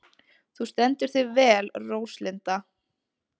Þú stendur þig vel, Róslinda!